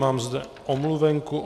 Mám zde omluvenku.